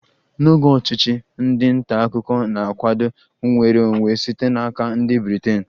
N'oge ọchịchị, ndị nta akụkọ na-akwado nnwere onwe site n'aka ndị Britain